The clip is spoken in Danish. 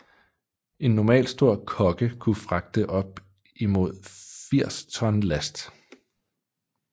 En normalstor kogge kunne fragte op imod 80 ton last